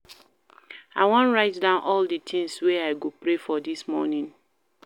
I wan write down all di tins wey I go pray for dis morning.